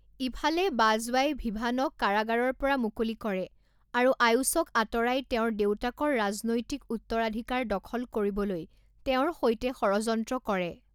ইফালে বাজৱাই ভিভানক কাৰাগাৰৰ পৰা মুকলি কৰে আৰু আয়ুষক আঁতৰাই তেওঁৰ দেউতাকৰ ৰাজনৈতিক উত্তৰাধিকাৰ দখল কৰিবলৈ তেওঁৰ সৈতে ষড়যন্ত্ৰ কৰে।